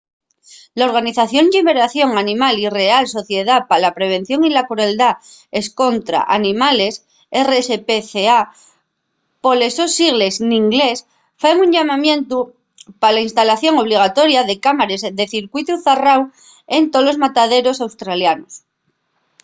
la organización lliberación animal y la real sociedá pa la prevención de la crueldá escontra los animales rspca poles sos sigles n’inglés faen un llamamientu pa la instalación obligatoria de cámares de circuitu zarráu en tolos mataderos australianos